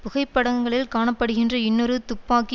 புகைப்படங்களில் காண படுகின்ற இன்னொரு துப்பாக்கி